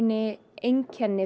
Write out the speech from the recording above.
einkenni